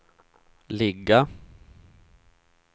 ligga